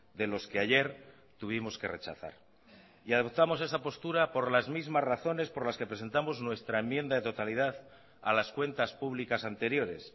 de los que ayer tuvimos que rechazar y adoptamos esa postura por las mismas razones por las que presentamos nuestra enmienda de totalidad a las cuentas públicas anteriores